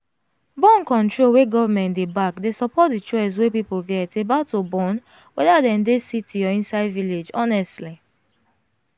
born -control wey government dey back dey support the choice wey people get about to born whether dem dey city or inside village honestly